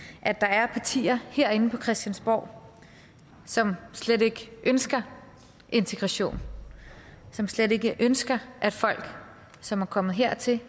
at der er partier herinde på christiansborg som slet ikke ønsker integration som slet ikke ønsker at folk som er kommet her til